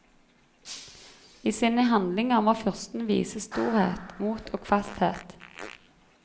I sine handlinger må fyrsten vise storhet, mot og fasthet.